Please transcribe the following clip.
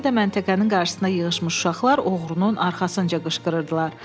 Hələ də məntəqənin qarşısında yığışmış uşaqlar oğruluğun arxasınca qışqırırdılar.